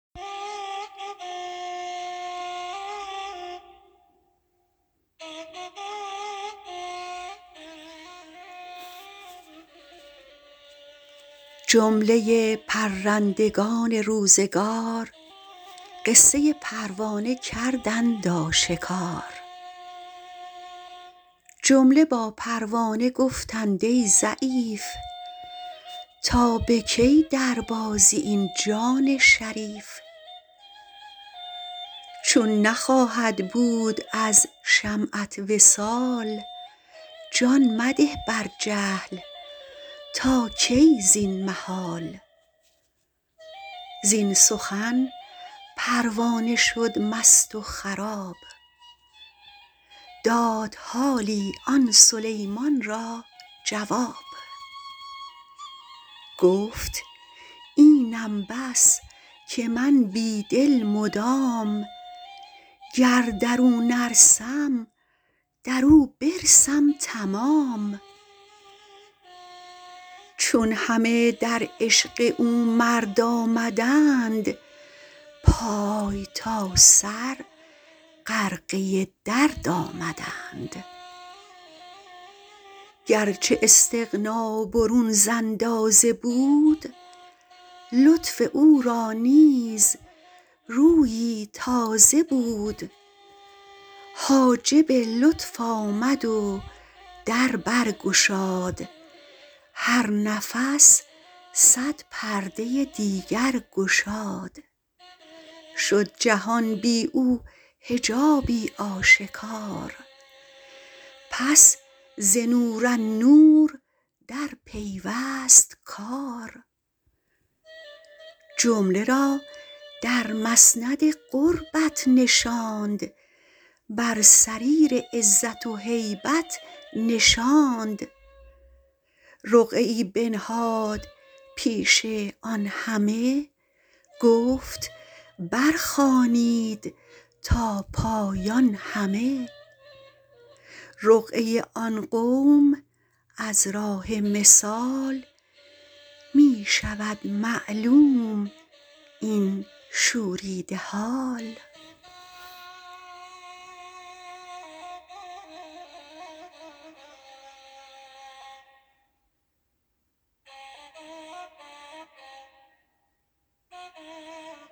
جمله پرندگان روزگار قصه پروانه کردند آشکار جمله با پروانه گفتند ای ضعیف تا به کی در بازی این جان شریف چون نخواهد بود از شمعت وصال جان مده بر جهل تا کی زین محال زین سخن پروانه شد مست و خراب داد حالی آن سلیمان را جواب گفت اینم بس که من بی دل مدام گر درو نرسم درو برسم تمام چون همه در عشق او مرد آمدند پای تا سر غرقه درد آمدند گرچه استغنی برون ز اندازه بود لطف او را نیز رویی تازه بود حاجب لطف آمد و در برگشاد هر نفس صد پرده دیگر گشاد شد جهان بی او حجابی آشکار پس ز نور النور در پیوست کار جمله را در مسند قربت نشاند بر سریر عزت و هیبت نشاند رقعه بنهاد پیش آن همه گفت بر خوانید تا پایان همه رقعه آن قوم از راه مثال می شود معلوم این شوریده حال